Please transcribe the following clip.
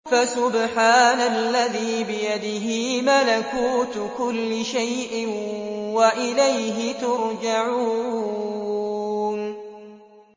فَسُبْحَانَ الَّذِي بِيَدِهِ مَلَكُوتُ كُلِّ شَيْءٍ وَإِلَيْهِ تُرْجَعُونَ